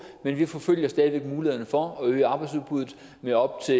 men vi forfølger stadig væk mulighederne for at øge arbejdsudbuddet med op til